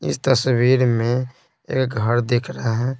इस तस्वीर में एक घर दिख रहा है।